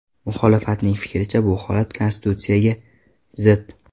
Muxolifatning fikricha, bu holat konstitutsiyaga zid.